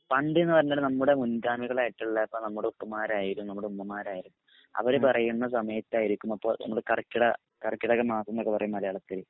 പണ്ട് നൊക്കെ പറഞ്ഞാല് നമ്മടെ മുൻകാമികളായിട്ടുള്ള പ്പോ നമുടെ ഉപ്പമാരായാലും ഉമ്മമാരായാലും അവര് പറയുന്ന സമയത്തായിരിക്കും പ്പോ കർക്കിട കര്കിടകമാസന്നൊക്കെ പറയും മലയാളത്തില്